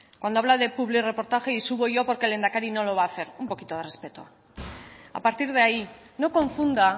cuando habla de publirreportaje y subo yo porque el lehendakari no lo va hacer un poquito de respeto a partir de ahí no confunda